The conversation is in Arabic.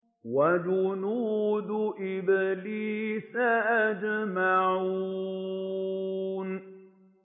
وَجُنُودُ إِبْلِيسَ أَجْمَعُونَ